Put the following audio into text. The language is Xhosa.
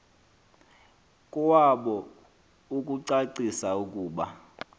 kowabo ukucacisa ukuba